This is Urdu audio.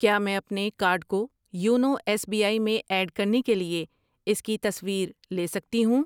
کیا میں اپنے کارڈ کو یونو ایس بی آئی میں ایڈ کرنے کے لیے اس کی تصویر لےسکتی ہوں؟